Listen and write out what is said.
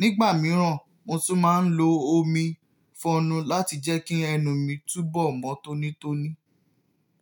Nígbà mìíràn, mo tún máa ń lo omi-fọnu láti jẹ́ kí ẹnu mi túbọ̀ mọ́ tónítóní.